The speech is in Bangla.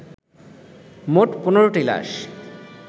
মোট ১৫টি লাশ